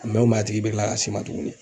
mɛ o mɛ a tigi bɛ kila ka s'i ma tuguni